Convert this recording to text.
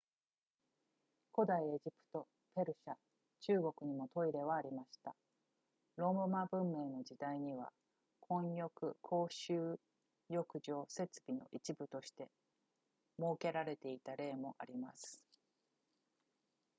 古代のエジプトペルシャ中国にもトイレはありましたローマ文明の時代には混浴公衆浴場設備の一部として設けられていた例もあります